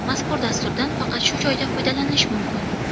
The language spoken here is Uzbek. Mazkur dasturdan faqat shu joyda foydalanish mumkin.